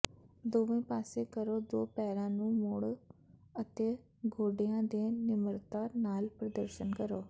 ਦੋਵੇਂ ਪਾਸੇ ਕਰੋ ਦੋ ਪੈਰਾਂ ਨੂੰ ਮੋੜੋ ਅਤੇ ਗੋਡਿਆਂ ਦੇ ਨਿਮਰਤਾ ਨਾਲ ਪ੍ਰਦਰਸ਼ਨ ਕਰੋ